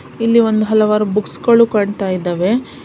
ಇಲ್ಲಿ ಒಂದು ಹಲವಾರು ಬುಕ್ಸ್ ಗಳು ಕಾಣ್ತಾ ಇದ್ದವೇ.